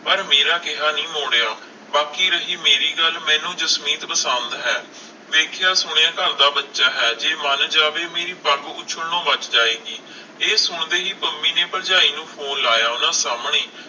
ਪਰ ਮੇਰਾ ਕਿਹਾ ਨੀ ਮੋੜਿਆ ਬਾਕੀ ਰਹੀ ਮੇਰੀ ਗੱਲ ਮੈਨੂੰ ਜਸਮੀਤ ਪਸੰਦ ਹੈ ਵੇਖਿਆ ਸੁਣਿਆ ਘਰ ਦਾ ਬਚਾ ਹੈ ਜੇ ਮਨ ਜਾਵੇ ਤਾ ਮੇਰੀ ਪੱਗ ਉਸ਼ਲਣੋ ਬੱਚ ਜਾਏਗੀ ਇਹ ਸੁਣਦੇ ਹੀ ਪੰਮੀ ਨੇ ਭਰਜਾਈ ਨੂੰ ਫੋਨ ਲਾਇਆ ਓਹਨਾ ਸਾਮਣੇ ਹੀ